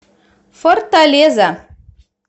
форталеза